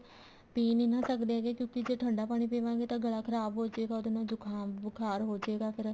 ਪੀ ਨੀ ਨਾ ਸਕਦੇ ਹੈਗੇ ਕਿਉਂਕਿ ਜੇ ਠੰਡਾ ਪਾਣੀ ਪੀਵਾਂਗੇ ਤਾਂ ਗਲਾ ਖਰਾਬ ਹੋਜੇਗਾ ਉਹਦੇ ਨਾਲ ਜੁਕਾਮ ਬੁਖਾਰ ਹੋਜੇਗਾ ਫ਼ੇਰ